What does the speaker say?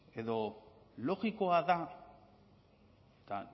edo logikoa da eta